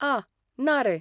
आह, ना रे.